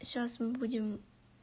сейчас мы будем